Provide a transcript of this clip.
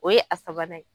O ye a sabanan ye